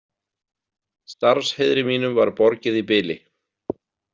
Starfsheiðri mínum var borgið í bili.